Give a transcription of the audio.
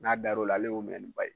N'a dar'o la ale y'o minɛ ni ba ye